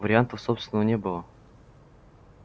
вариантов собственно не было